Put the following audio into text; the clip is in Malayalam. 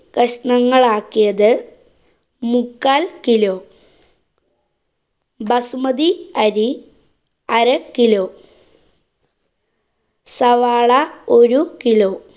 കഷ്ണങ്ങളാക്കിയത് മുക്കാല്‍ kilo. ബസുമതി അരി അര kilo. സവാള ഒരു kilo.